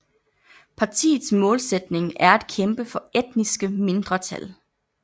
Partiets målsætning er at kæmpe for etniske mindretal